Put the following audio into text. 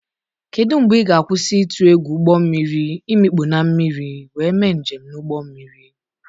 Kedu mgbe ị ga-akwụsị ịtụ egwu ụgbọ mmiri imikpu na mmiri wee mee njem na ụgbọ mmiri?